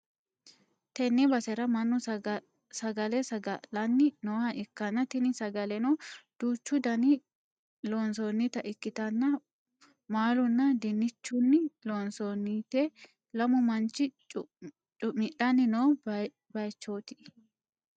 tenne basera mannu sagale saga'lanni nooha ikkanna, tini sagaleno duuchu daninni loonsoonnita ikkitannna maalunna dinnichunni loonsoonnite, lamu manchi cu'midhanni noo bayichooti.